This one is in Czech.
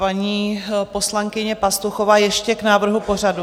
Paní poslankyně Pastuchová ještě k návrhu pořadu.